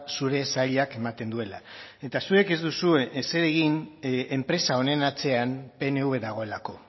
zure sailak ematen duela eta zuek ez duzue ezer egin enpresa honen atzean pnv dagoelako